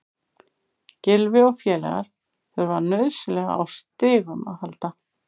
Gylfi og félagar þurfa nauðsynlega á stigum að halda.